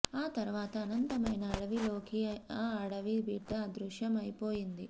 ఆ తరువాత అనంతమైన అడవిలోకి ఆ అడవి బిడ్డ అదృశ్యం అయిపోయింది